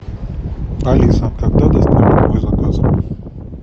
алиса когда доставят мой заказ